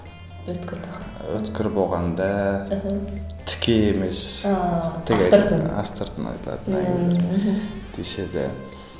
өткір болғанда іхі тіке емес астыртын айтылатын әңгімелер деседі